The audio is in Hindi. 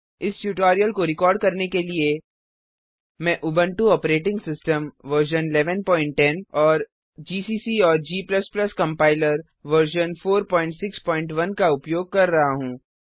इस ट्यूटोरियल को रिकार्ड करने के लिए मैं उबुंटू ऑपरेटिंग सिस्टम वर्जन 1110 और जीसीसी और g कम्पाइलर वर्जन 461 का उपयोग कर रहा हूँ